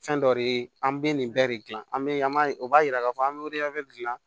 Fɛn dɔ de an bɛ nin bɛɛ de gilan an bɛ an b'a ye o b'a yira k'a fɔ an bɛ dilan